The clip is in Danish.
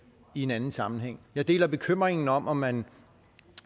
en anden sammenhæng jeg deler bekymringen om om man